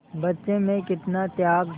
बच्चे में कितना त्याग